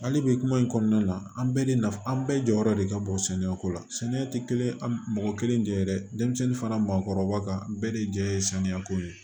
Hali bi kuma in kɔnɔna na an bɛɛ de nafa an bɛɛ jɔyɔrɔ de ka bon sɛnɛko la sɛnɛ tɛ kelen an mɔgɔ kelen jɛ dɛ denmisɛnnin fana maakɔrɔba ka bɛɛ de jɛ ye samiya ko ye